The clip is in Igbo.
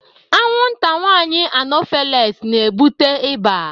Anwụnta nwanyị anofeles na ebute ịba